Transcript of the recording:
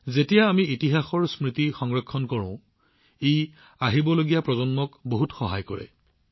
যেতিয়া আমি ইতিহাসৰ স্মৃতি কঢ়িয়াই আহোঁ ই ভৱিষ্যতৰ প্ৰজন্মক যথেষ্ট সহায় কৰে